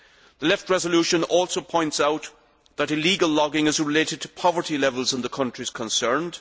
The Left's resolution also points out that illegal logging is related to poverty levels in the countries concerned.